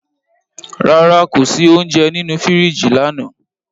Rara, ko si ounjẹ ninu firiji lana